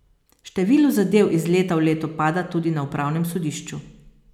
Število zadev iz leta v leto pada tudi na upravnem sodišču.